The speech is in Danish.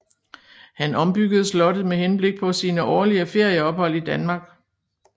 Han ombyggede slottet med henblik på sine årlige ferieophold i Danmark